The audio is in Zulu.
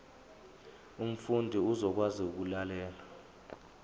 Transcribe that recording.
umfundi uzokwazi ukulalela